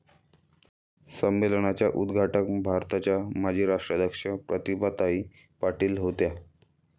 संमेलनाच्या उद्घाटक भारताच्या माजी राष्ट्राध्यक्ष प्रतिभाताई पाटील होत्या.